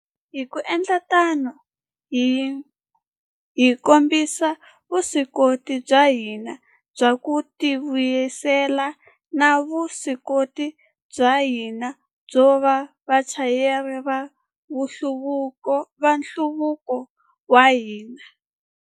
Hi ku endla tano, hi kombisile vuswikoti bya hina bya ku tivuyisela na vuswikoti bya hina byo va vachayeri va nhluvuko wa hina.